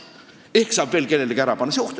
Ehk saab veel kellelegi ära panna!